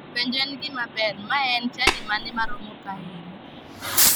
Penjo en gima ber, mae en chadi mane maromo kaeri?